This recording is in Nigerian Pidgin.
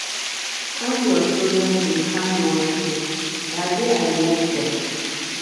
All your children dey hardworking na why I like dem